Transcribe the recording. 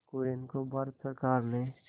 कुरियन को भारत सरकार ने